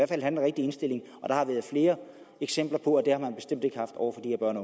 den rigtige indstilling der har været flere eksempler på at man bestemt ikke haft over